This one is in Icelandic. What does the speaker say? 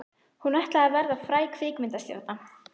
Hún ætlaði að verða fræg kvikmyndastjarna.